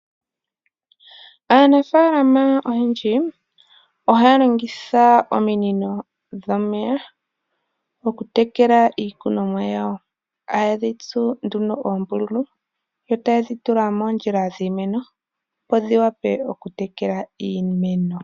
Aanafalama oyendji ohaya longitha ominino dhomeya okutekela iikunomwa yawo. Haye dhi tsu nduno oombululu yo taye dhi tula moondjila dhiimeno, opo dhi wape okutekela iimeno.